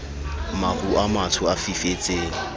maru a matsho a fifetseng